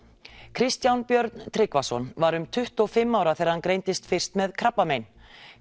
Kristján Björn Tryggvason var um tuttugu og fimm ára þegar hann greindist fyrst með krabbamein